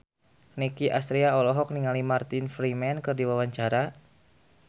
Nicky Astria olohok ningali Martin Freeman keur diwawancara